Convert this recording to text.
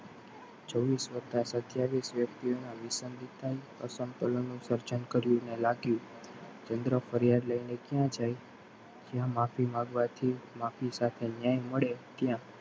છવીશ વત્તા સત્યાવીશ વ્યક્તિઓ ના વિશર્જન થઇ અસમતોલનું સર્જન કર્યું અને લાગ્યું ચંદ્ર ફરિયાદ લઈને ક્યાં જાય જ્યા માફી માગવાથી માફી સાથે ન્યાય મળે.